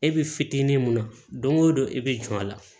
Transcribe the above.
E bɛ fitinin mun na don go don e bɛ jɔ a la